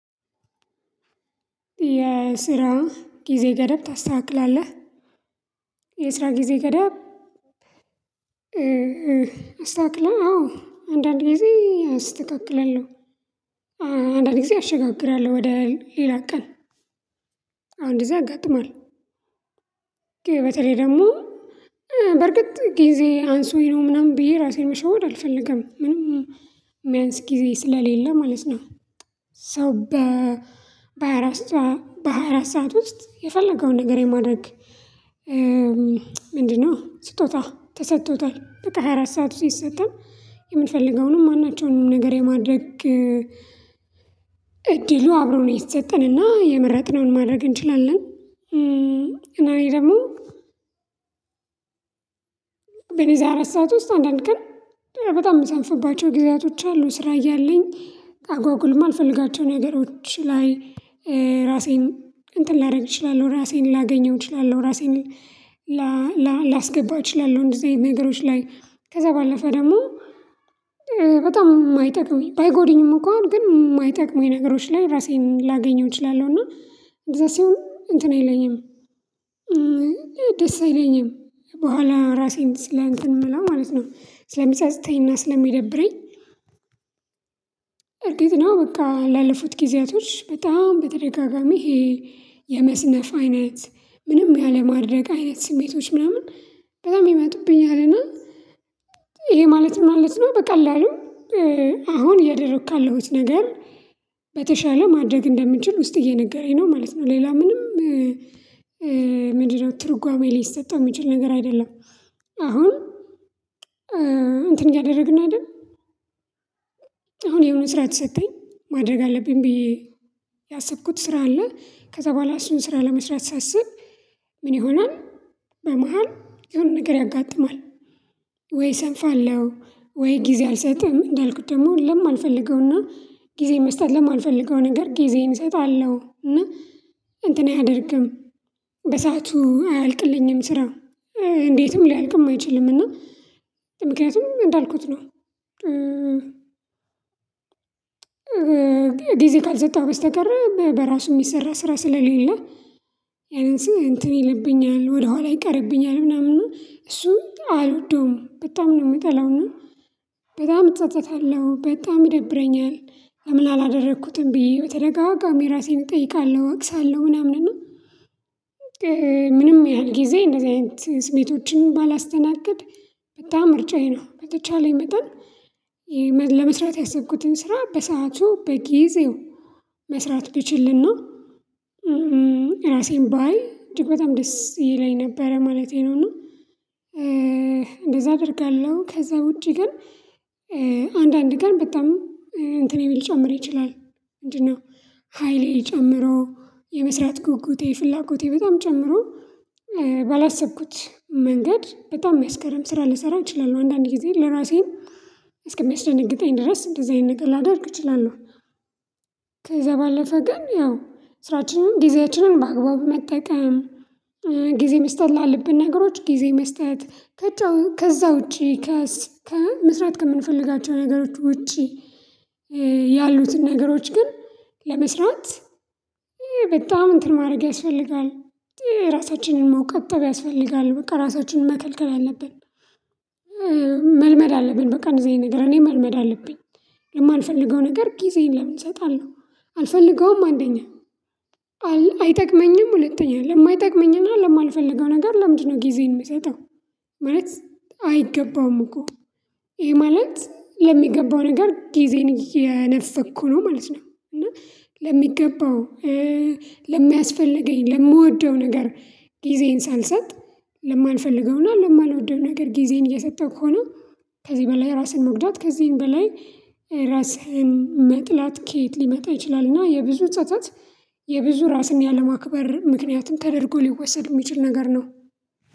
የስራ ጊዜ ገደብ ታስተካክላለህ የስራ ጊዜ ገደብ? አዎ አንዳንድ ጊዜ አስተካክለለሁ አንዳንዴ አሸጋግራለሁ ወደ ሌላ ቀን። አሁን እንደዚህ ያጋጥማል። በተለይ ደግሞ በርግጥ ጊዜ አንሶኝ ነው ምናምን ብዬ ራሴን መሸወድ አልፈልግም ምንም የሚያንስ ጊዜ ስለሌለ ማለት ነው። ሰው በሃያ አራት ሰዓት ውስጥ የፈለገውን ነገር የማድረግ። ምንድነው ስጦታ ተሰጥቶታል በቃ ሃያ አራት ሰዓቱ ሲሰጠን የምንፈልገውንም ማናቸውንም ነገር የማድረግ እድሉ አብሮ ነው የሰጠን እና የመረጥነውን ማድረግ እንችላለን። እና እኔ ደግሞ በኔ አራት ሰዓት ውስጥ አንድ አንድ ቀን በጣም የምሰንፈባቸው ጊዜያቶች አሉ። ስራ እያለኝ አጓጉልማ አልፈልጋቸውም ነገሮች ላይ ራሴን እንትን ላደርግ እችላለሁ ራሴን ላገኘው እችላለሁ። ራሴን ላስገባ እችላለሁ። እንደዚህ ነገሮች ላይ ከዛ ባለፈ ደግሞ በጣም የማይጠቅመኝ ባይጎደኝም እኮ ግን የማይጠቅመኝ ነገሮች ላይ ራሴን ላገኘው እችላለሁ። እና እንደዛ ሲሆን እንትን አይለኝም። ደስ አይለኝም በኋላ ራሴን ስለ እንትን የምለው ማለት ነው ስለሚፀጽተኝና ስለሚደብረኝ። እርግጥ ነው በቃ ላለፉት ጊዜያቶች በጣም በተደጋጋሚ ይሄ የመስነፍ አይነት ምንም ያለማድረግ አይነት ስሜቶች ምናምን በጣም የሚመጡብኝ አለና። ይሄ ማለት ማለት ነው በቀላሉ አሁን እያደረኩ ካለሁት ነገር በተሻለ ማድረግ እንደምንችል ውስጥ እየነገረኝ ነው ማለት ነው። ሌላ ምንም ምንድነው? ትርጓሜ ሊሰጠው የሚችል ነገር አይደለም። አሁን እንትን እያደረግን አይደል? አሁን የሆነ ስራ ተሰጠኝ ማድረግ አለብኝ ብዬ ያሰብኩት ስራ አለ። ከዛ በኋላ እሱን ስራ ለመስራት ሳስብ ምን ይሆናል? በመሃል የሆነ ነገር ያጋጥማል። ወይ እሰንፋለሁ ወይ ጊዜ አልሰጥም እንዳልኩት ደግሞ ለማልፈልገውና ጊዜ መስጠት ለማልፈልገው ነገር ጊዜን እሰጣለሁ እና እንትን አያደርግም። በሰአቱ አያልቅልኝም ስራ እንዴትም ሊያልቅም አይችልም። እና ምክንያቱም እንዳልኩት ነው። ጊዜ ካልሰጠህ በስተቀር በራሱ የሚሰራ ስራ ስለሌለ። ያህን ስል እንትን ይልብኛል ወደ ኋላ ይቀርብኛል ምናምን እሱም አሉ ዶም በጣም ነው የምጠላው ነው። በጣም እጸጸታለሁ በጣም ይደብረኛል ለምን አላደረኩትም ብዬ ተደጋጋሚ ራሴን እጠይቃለሁ እወቅሳለሁ ምናምን ነው። ምንም ያህል ጊዜ እንደዚህ አይነት ስሜቶችን ባላስተናግድ በጣም ምርጫዬ ነው። በተቻለኝ መጠን ለመስራት ያሰብኩትን ስራ በሰአቱ በጊዜው መስራት ብችልና ራሴን ባይ እጅግ በጣም ደስ ይለኝ ነበረ ማለቴ ነው። እና እንደዛ አደርጋለሁ። ከዛ ውጪ ግን አንዳንድ ግን በጣም እንትን ሊጨምር ይችላል። እንዴ ነው ሀይሌጨምሮ የመስራት ጉጉቴ ፍላጎቴ በጣም ጨምሮ ባላሰብኩት መንገድ በጣም መስከረም ስራ ልሰራው እችላለሁ። አንዳንዴ ጊዜ ለራሴን እስከሚያስደነግጠኝ ድረስ እንደዚህ አይነት ነገር ላደርግ እችላለሁ። ከዛ ባለፈ ግን ያው ስራችንን ጊዜያችንን በአግባቡ መጠቀም ጊዜ መስጠት ላለብን ነገሮች ጊዜ መስጠት። ከዛ ውጪ ከመስራት ከምንፈልጋቸው ነገሮች ውጪ። ያሉትን ነገሮች ግን ለመስራት በጣም እንትን ማድረግ ያስፈልጋል። ራሳችንን መቆጠብ ያስፈልጋል በቃ ራሳችንን መከልከል አለብን። መልመድ አለብን በቃ እንደዚህ ነገር እኔ መልመድ አለብኝ። የማልፈልገው ነገር ጊዜን ለምን እሰጣለሁ አልፈልገውም። አንደኛ አይጠቅመኝም ሁለተኛ ለማይጠቅመኝና ለማልፈልገው ነገር ለምንድነው ጊዜዬን የምሰጠው? ማለት አይገባውም እኮ። ይሄ ማለት ለሚገባው ነገር ጊዜን እየነፈኩ ነው ማለት ነው። እና ለሚገባው ለሚያስፈልገኝ ለምወደው ነገር ጊዜን ሳልሰጥ ለማንፈልገውና ለማልወደው ነገር ጊዜን እየሰጠሁ ከሆነ። ከዚህ በላይ ራስን መግደል ከዚህም በላይ ራስህን መጥላት ከየት ሊመጣ ይችላል? እና የብዙ ጸጸት የብዙ ራስን ያለማክበር ምክንያቱም ተደርጎ ሊወሰድ የሚችል ነገር ነው።